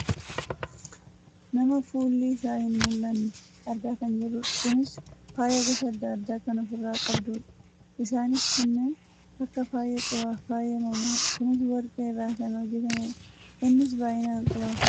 nama fuulli isaa hin mul'anne argaa kan jirrudha . kunis faaya gosa adda addaa kan of irraa qabdudha. isaaniis kanneen akka faaya qubaa fi faaya mormaadha . kunis warqee irraa kan hojjatamedha. innis baayyinaan qubaaf morma isheerra kan jirudha.